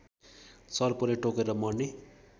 सर्पले टोकेर मर्ने